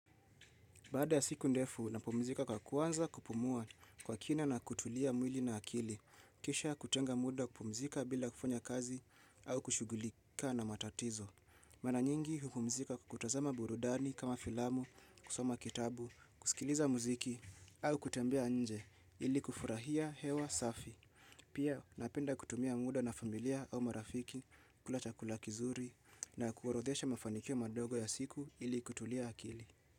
Baada ya siku ndefu, napumzika kwa kuanza kupumua kwa kina na kutulia mwili na akili. Kisha kutenga muda kupumzika bila kufanya kazi au kushughulika na matatizo. Mara nyingi, hupumzika kutazama burudani kama filamu, kusoma kitabu, kusikiliza muziki au kutembea nje ili kufurahia hewa safi. Pia napenda kutumia muda na familia au marafiki kula chakula kizuri na kuorodhesha mafanikio madogo ya siku ili kutulia akili.